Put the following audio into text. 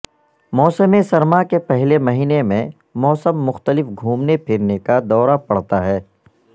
موسم سرما کے پہلے مہینے میں موسم مختلف گھومنے پھرنے کا دورہ پڑتا ہے